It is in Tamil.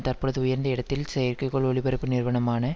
தற்பொழுது உயர்ந்த இடத்தில் செயற்கைக்கோள் ஒலிபரப்பு நிறுவனமான